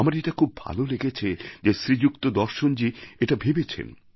আমার এটা খুব ভালো লেগেছে যে শ্রীযুক্ত দর্শনজী এটা ভেবেছেন